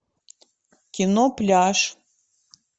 кино пляж